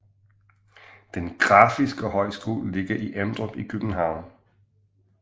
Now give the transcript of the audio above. Den Grafiske Højskole ligger i Emdrup i København